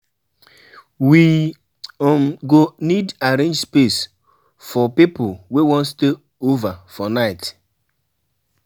We um go need arrange space for people wey wan stay over for night.